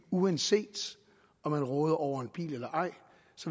uanset om man råder over en bil eller ej